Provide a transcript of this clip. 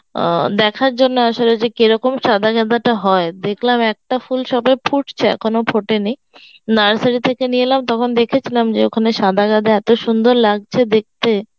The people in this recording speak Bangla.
অ্যাঁ দেখার জন্য আসলে যে কেরকম সাদা গাঁদাটা হয়, দেখলাম একটা ভুল যাবে ফুটছে এখনো ফোটেনি, nursery থেকে নিয়ে এলাম তখন দেখেছিলাম যে ওখানে সাদা গাঁদা এত সুন্দর লাগছে দেখতে